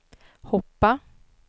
hoppa